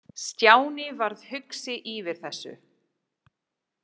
Stjáni varð hugsi yfir þessu.